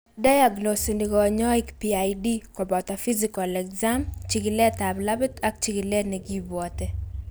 diagnoseni kanyoik PID koboto physical exam, chikilet ab labit ak chikilet nekibwote